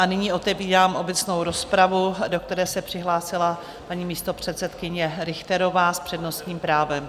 A nyní otevírám obecnou rozpravu, do které se přihlásila paní místopředsedkyně Richterová s přednostním právem.